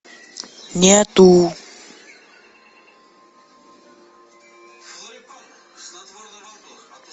нету